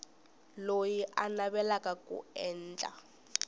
loyi a navelaka ku endla